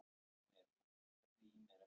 Svörfuður, hvenær kemur strætó númer fjögur?